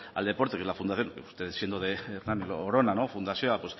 al deporte que es la fundación usted siendo de hernani orona fundazioa